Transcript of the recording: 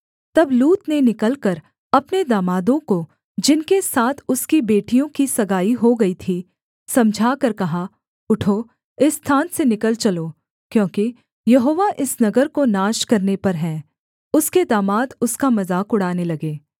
तब लूत ने निकलकर अपने दामादों को जिनके साथ उसकी बेटियों की सगाई हो गई थी समझाकर कहा उठो इस स्थान से निकल चलो क्योंकि यहोवा इस नगर को नाश करने पर है उसके दामाद उसका मजाक उड़ाने लगे